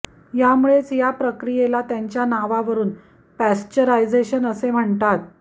यामुळेच या प्रक्रियेला त्यांच्या नावावरून पाश्चरायझेशन असे म्हणतात